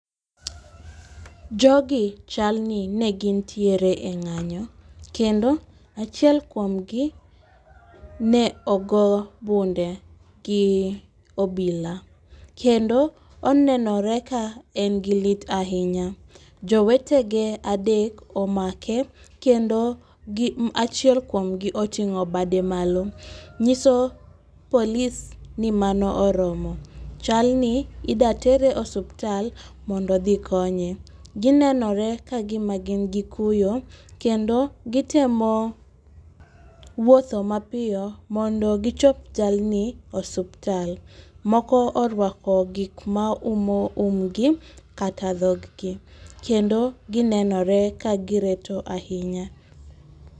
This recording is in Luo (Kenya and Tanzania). Jogi chalni ne gintiere e ng'anyo kendo achiel kuomgi ne ogo bunde gi obila, kendo onenore ka en gi lit ahinya. Jowetege adek omake kendo achiel kuom gi oting'o bade malo, nyiso polis ni mano oromo. Chalni idatere osuptal mondo odhi konye. Ginenore ka gima gin kuyo, kendo gitemo wuotho mapiyo mondo gichop jalni osuptal. Moko orwako gik maumo umgi kata dhoggi, kendo ginenore ka gireto ahinya.